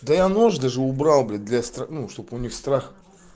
да я нож даже убрал блядь для ну чтобы у них страх